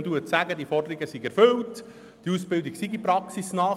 Man sagt, die Forderungen seien erfüllt und die Ausbildungen seien praxisnah.